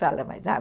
Fala mais nada.